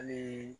Hali